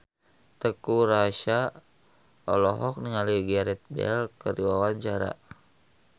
Teuku Rassya olohok ningali Gareth Bale keur diwawancara